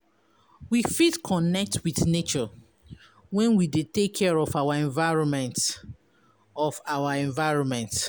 We fit connect with nature when we de take care of our environment of our environment